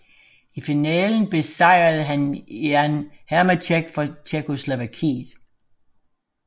I finalen besejrede han Jan Heřmánek fra Tjekkoslovakiet